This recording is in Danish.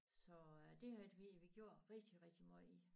Så det har vi vi gjort rigtig rigtig måj